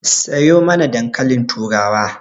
Sayo mana dankalin turawa